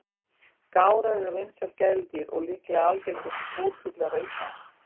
Gárar eru vinsæl gæludýr og líklega algengustu búrfuglar á Íslandi.